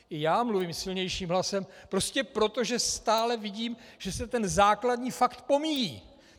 I já mluvím silnějším hlasem - prostě proto, že stále vidím, že se ten základní fakt pomíjí.